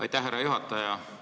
Aitäh, härra juhataja!